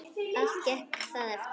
Allt gekk það eftir.